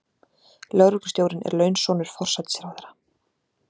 Lögreglustjórinn er launsonur forsætisráðherra.